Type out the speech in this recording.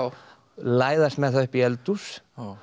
læðast með það upp í eldhús